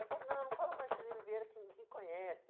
Ele falou, não, não fala Marcelino Vieira, que ninguém conhece.